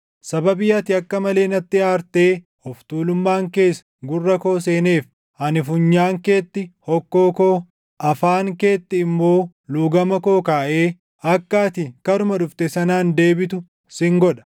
Sababii ati akka malee natti aartee of tuulummaan kees gurra koo seeneef, ani funyaan keetti hokkoo koo, afaan keetti immoo luugama koo kaaʼee akka ati karuma dhufte sanaan deebitu sin godha.